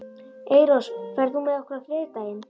Eyrós, ferð þú með okkur á þriðjudaginn?